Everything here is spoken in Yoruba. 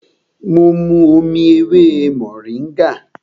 Mo mu omi ewé mòríngà